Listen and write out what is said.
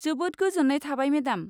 जोबोद गोजोन्नाय थाबाय मेडाम।